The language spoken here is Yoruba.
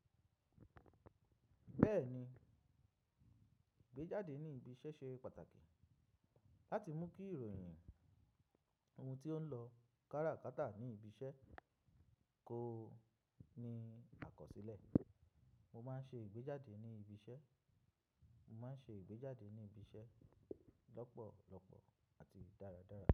Bẹ́ẹ̀ni, ìgbéjáde ní ibi iṣẹ́ ṣe pàtàkì láti mú kí ìròyìn oun tí ó ń lọ kárakáta ní ibi iṣẹ́ kó ní àkọsílẹ̀. Mo máa ń ṣe ìgbéjáde ní ibi iṣẹ́, mo máa ń ṣe ìgbéjáde ní ibi iṣẹ́ lọ́pọ̀lọpọ̀ àti dáradára.